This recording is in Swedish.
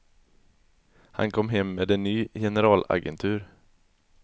Han kom hem med en ny generalagentur.